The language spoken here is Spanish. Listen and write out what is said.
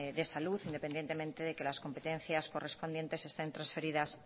de salud independientemente de que las competencias correspondientes estén transferidas